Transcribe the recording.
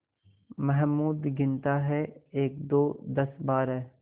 महमूद गिनता है एकदो दसबारह